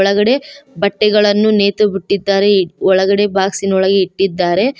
ಒಳಗಡೆ ಬಟ್ಟೆಗಳನ್ನು ನೇತು ಬಿಟ್ಟಿದಾರೆ ಒಳಗಡೆ ಬಾಕ್ಸ್ ಇನ ಒಳಗೆ ಇಟ್ಟಿದಾರೆ.